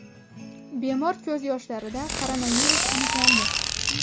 Bemor ko‘z yoshlarida koronavirus aniqlandi.